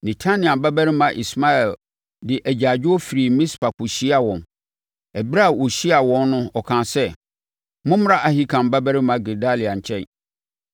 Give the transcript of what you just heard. Netania babarima Ismael de agyaadwoɔ firii Mispa kɔhyiaa wɔn. Ɛberɛ a ɔhyiaa wɔn no ɔkaa sɛ, “Mommra Ahikam babarima Gedalia nkyɛn.”